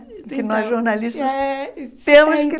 Então Que nós, jornalistas, é temos que